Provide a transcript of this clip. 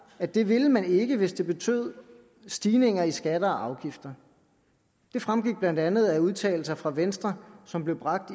at det ville man ikke hvis det betød stigninger i skatter og afgifter det fremgik blandt andet af udtalelser fra venstre som blev bragt